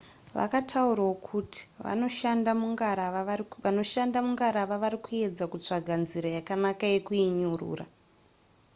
vakataurawo kuti vanoshanda mungarava vari kuedza kutsvaga nzira yakanaka yekuinyurura